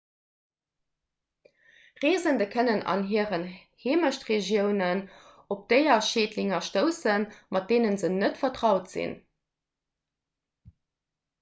reesende kënnen an hiren heemechtregiounen op déierschädlinge stoussen mat deene se net vertraut sinn